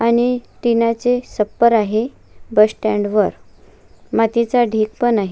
आणि टीनाचे सप्पर आहे बस स्टँड वर मातीचा ढीग पण आहे.